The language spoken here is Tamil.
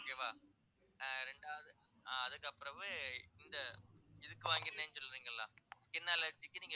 okay வா ஆஹ் இரண்டாவது ஆஹ் அதுக்கப்புறமே இந்த இதுக்கு சொல்றிங்களா skin allergy க்கு நீங்க